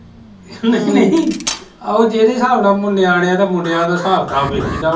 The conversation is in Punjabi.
ਨਹੀਂ ਨਹੀਂ ਉਹ ਜੇਹੜੇ ਸਾਬ ਨਾਲ ਨਿਆਣੇਆ ਦਾ ਮੁੰਡੇਆਂ ਦਾ ਹਸਾਬ ਕਤਾਬ ਵੇਖੀ ਦਾ ਵਾ